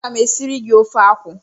A ga m e siri gi ofe akwụ.